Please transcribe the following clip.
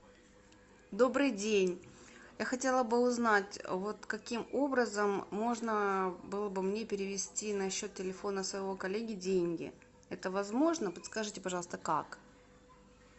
добрый день я хотела бы узнать вот каким образом можно было бы мне перевести на счет телефона своего коллеги деньги это возможно подскажите пожалуйста как